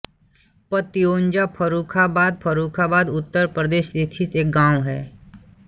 पत्यौंजा फर्रुखाबाद फर्रुखाबाद उत्तर प्रदेश स्थित एक गाँव है